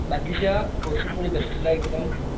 बाकीच्या कोर्सेस मध्ये कस तुला एकदम,